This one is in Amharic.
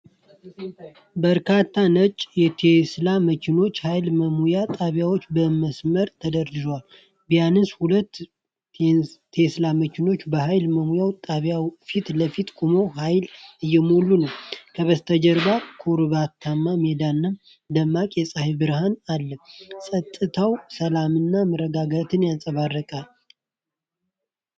በርካታ ነጭ የቴስላ መኪና ኃይል መሙያ ጣቢያዎች በመስመር ተደርድረዋል። ቢያንስ ሁለት ቴስላ መኪናዎች በኃይል መሙያ ጣቢያዎቹ ፊት ለፊት ቆመው ኃይል እየሞሉ ነው። ከበስተጀርባ ኮረብታማ ሜዳና ደማቅ የፀሐይ ብርሃን አለ። ጸጥታው ሰላምና መረጋጋትን ያንጸባርቃል።